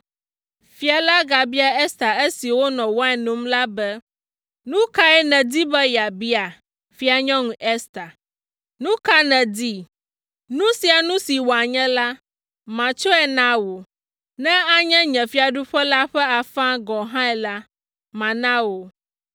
Fia la gabia Ester esi wonɔ wain nom la be, “Nu kae nèdi be yeabia, Fianyɔnu Ester? Nu ka nèdi? Nu sia nu si wòanye la, matsɔe na wò, ne anye nye fiaɖuƒe la ƒe afãe gɔ̃ hã la, mana wò!”